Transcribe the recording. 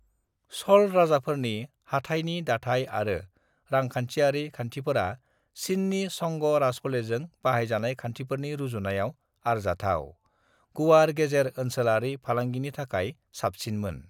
"च'ल राजफोलेरनि हाथाइनि दाथाय आरो रांखान्थिआरि खान्थिफोरा चीननि चंग राजफोलेरजों बाहायजानाय खान्थिफोरनि रुजुनायाव आरजाथाव, गुवार गेजेर-ओनसोलारि फालांगिनि थाखाय साबसिनमोन।"